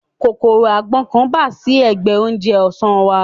Kòkòrò agbọ́n kan bà sí ẹ̀gbẹ oúnjẹ ọ̀sán wa